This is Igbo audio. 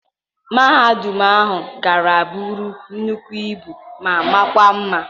Mahadum ahu ha gara bụrụ nnukwu ibu ma makwa mma.